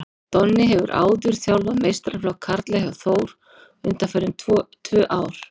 Donni hefur áður þjálfað meistaraflokk karla hjá Þór undanfarin tvö ár.